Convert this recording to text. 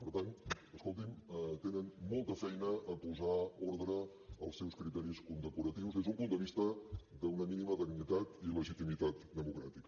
per tant escoltin tenen molta feina a posar ordre als seus criteris condecoratius des d’un punt de vista d’una mínima dignitat i legitimitat democràtica